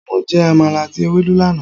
Mo jẹ Àmàlà àti Ewedu lánàá.